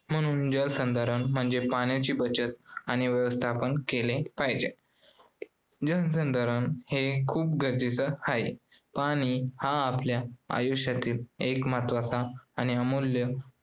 म्हणनू जलसंधारण म्हणजे पाण्याची बचत आणि व्यवस्थापन केले पाहिजे. जलसंधारण हे खूप गरजेचे आहे. पाणी हा आपल्या आयुष्यातील एक महत्वाचा आणि अमूल्य